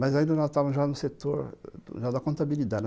Mas ainda nós estávamos já no setor da contabilidade.